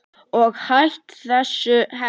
Og hætt þessu hel